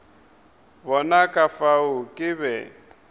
bona ka fao ke be